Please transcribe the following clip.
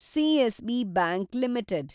CSB bank limited